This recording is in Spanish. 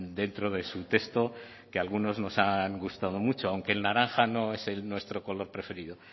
dentro de su texto que algunos nos han gustado mucho aunque el naranja no es nuestro color preferido